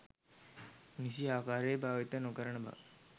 නිසි ආකාරයෙන් භාවිත නො කරන බව